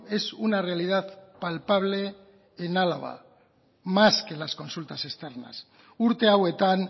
es una realidad palpable en álava más que las consultas externas urte hauetan